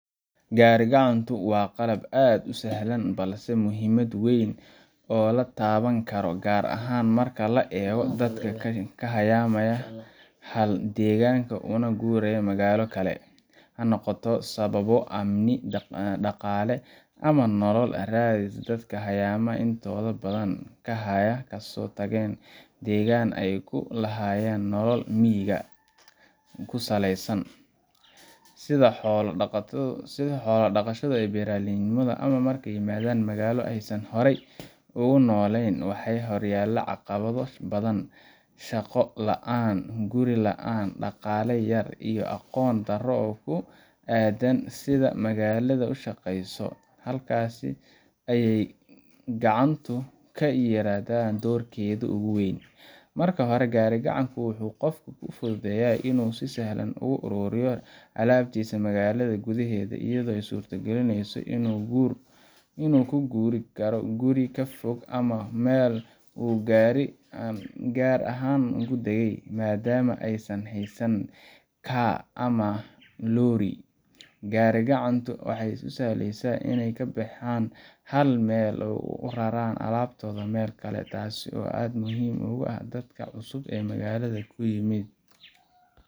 Gari-gacantu waa qalab aad u sahlan balse leh muhiimad weyn oo la taaban karo, gaar ahaan marka la eego dadka ka hayaamay hal deegaan una guuray magaalo kale, ha noqoto sababo amni, dhaqaale, ama nolol raadis. Dadka hayaamaya intooda badan waxay kasoo tageen deegaan ay ku lahayeen nolol miyiga ku salaysan sida xoolo dhaqasho ama beeraleynimo. Marka ay yimaadaan magaalo aysan horey ugu nooleyn, waxaa horyaalla caqabado badan: shaqo la'aan, guri la'aan, dhaqaale yari, iyo aqoon darro ku aaddan sida magaalada u shaqeyso. Halkaas ayay gari-gacantu ka ciyaartaa doorkeedii ugu weynaa. Marka hore, gari-gacantu waxay qofka u fududeysaa inuu si sahlan ugu raro alaabtiisa magaalada gudaheeda, iyadoo ay u suurtogelinayso inuu ku guuro guri ka fog ama ku meel gaar ah oo uu degay. Maadaama aysan haysan car ama lorry, gari-gacanta ayaa u sahlaysa inay ka baxaan hal meel una raraan alaabtooda meel kale, taasoo aad muhiim ugu ah dadka cusub ee magaalada uun yimid